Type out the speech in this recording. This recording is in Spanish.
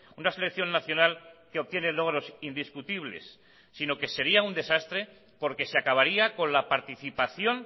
una selección nacional que obtiene logros indiscutibles sino que sería un desastre porque se acabaría con la participación